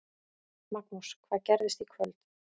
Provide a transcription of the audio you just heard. Magnús: Hvað gerist í kvöld?